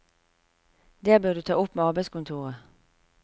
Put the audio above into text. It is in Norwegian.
Det bør du ta opp med arbeidskontoret.